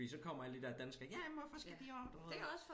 Fordi så kommer alle de der danskere jamen hvorfor skal de også du ved